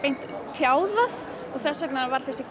tjáð það þess vegna var þessi